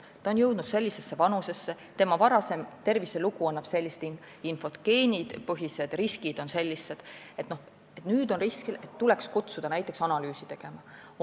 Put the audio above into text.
Inimene on jõudnud mingisse vanusesse, tema varasem terviselugu annab sellist infot ja geenipõhised riskid on sellised ning nüüd tuleks ta kutsuda analüüse tegema.